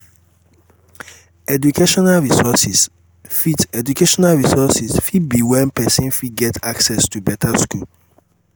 educational resources fit educational resources fit be when person fit get access to better school